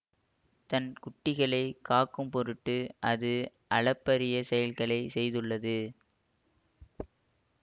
தன் குட்டிகளை காக்கும் பொருட்டு அது அளப்பரிய செயல்களை செய்துள்ளது